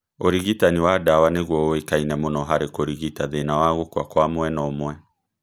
ũrigitani wa ndawa nĩguo ũĩkaine mũno harĩ kũrigita thĩna wa gũkua kwa mwena ũmwe